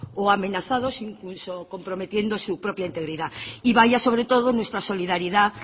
o amenazados incluso comprometiendo su propia integridad y vaya sobre todo nuestra solidaridad